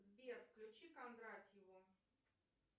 сбер включи кондратьеву